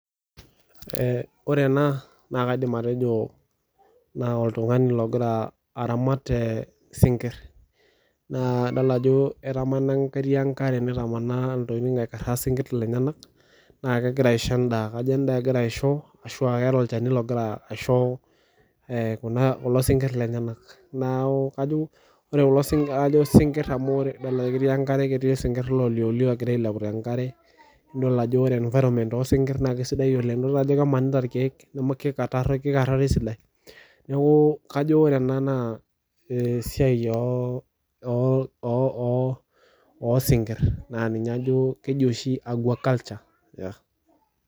Ore ena, na kaidim atejo na oltung'ani logira aramat isinkirr. Naa adol ajo etamana ketii enkare natamana intokiting aikarraa sinkirr lenyanak, na kegira aisho endaa. Kajo endaa egira aisho ashua keeta olchani logira aisho kulo sinkirr lenyanak. Naku kajo ore kulo sinkirr ajo sinkirr amu ketii enkare sinkirr loliolio egira ailepu tenkare, nidol ajo ore environment osinkir naa kesidai oleng. Idol ajo kemanita irkeek kikatarro kikarraro esidai. Kajo ore ena naa esiai osinkir na ninye ajo keji oshi aquaculture.